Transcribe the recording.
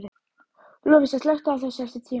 Lovísa, slökktu á þessu eftir tíu mínútur.